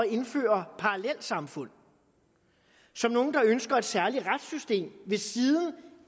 indføre parallelsamfund som nogle der ønsker et særligt retssystem ved siden